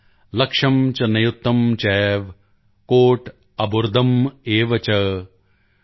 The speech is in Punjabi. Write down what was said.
ਲਕਸ਼ੰ ਚ ਨਿਯੁਤੰ ਚੈਵ ਕੋਟਿ ਅਰਬੁਦਮ੍ ਏਵ ਚ॥